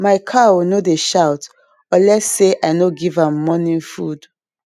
my cow no dey shout unless say i no give am morning food